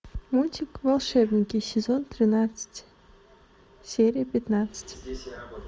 мультик волшебники сезон тринадцать серия пятнадцать